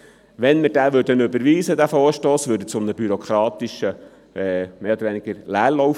Würden wir diesen Vorstoss überweisen, führte er mehr oder weniger zu einem bürokratischen Leerlauf.